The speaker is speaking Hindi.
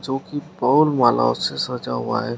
जो कि मालाओं से सजा हुआ है।